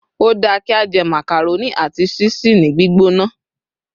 o da ki a je macaroni ati ṣisi ni gbigbona